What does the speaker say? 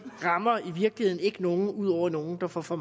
rammer i virkeligheden ikke nogen ud over nogle der får for